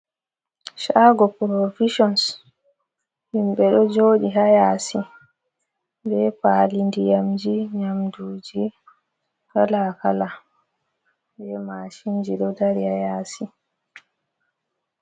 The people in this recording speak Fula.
Shago provisions, himɓe ɗo joɗi haa yasi be paali ndiyamji, nyamduji kalakala be mashinji ɗo dari haa yasi.